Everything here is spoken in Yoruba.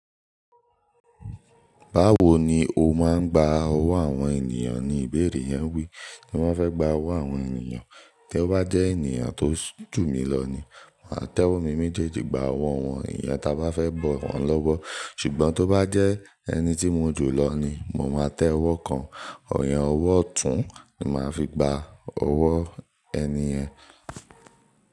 Báwo ni o má ń gba owó àwọn ènìyàn ni ìbéèrè yẹn wí. Bí wọ́n fẹ́ gba owó àwọn ènìyàn, tí ó bá jẹ́ ènìyàn tó jù mí lọ ni, máa tẹ́wó mi méjèèjì gba owó wọn, ìyan ta bá fẹ́ bọ̀ wọ́n lọ́wọ́. Ṣùgbọ́n tó bá jẹ́ ẹni tí mo jù lọ ni, mo máa tẹ́wó kan, ọ̀yán owó ọ̀tún ni màá fi gba owó ẹni yen.